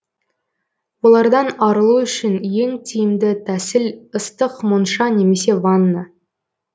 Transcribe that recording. олардан арылу үшін ең тиімді тәсіл ыстық монша немесе ванна